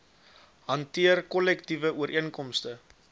hanteer kollektiewe ooreenkomste